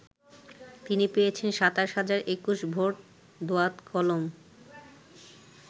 তিনি পেয়েছেন ২৭ হাজার ২১ ভোট দোয়াত-কলম ।